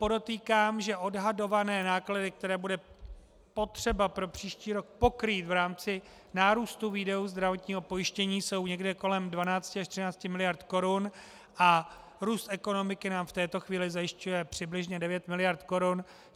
Podotýkám, že odhadované náklady, které bude potřeba pro příští rok pokrýt v rámci nárůstu výdajů zdravotního pojištění, jsou někde kolem 12 až 13 miliard korun a růst ekonomiky nám v této chvíli zajišťuje přibližně 9 miliard korun.